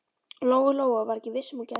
Lóa Lóa var ekki viss um að hún gæti það.